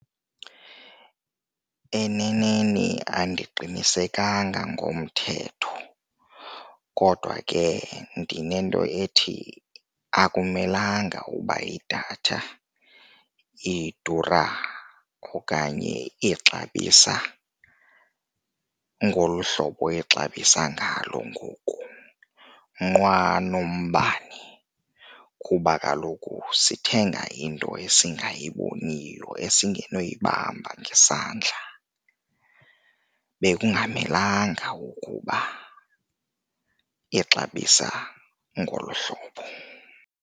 Eneneni andiqinisekanga ngomthetho kodwa ke ndinento ethi akumelanga uba idatha idura okanye ixabisa ngolu hlobo ixabisa ngalo ngoku, nqwa nombane kuba kaloku sithenga into esingayiboniyo, esingenoyibamba ngesandla. Bekungamelanga ukuba ixabisa ngolu hlobo.